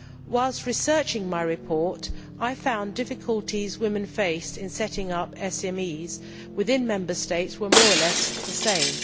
Whilst researching my report, I found that the difficulties women faced in setting up SMEs within Member States were more or less the same.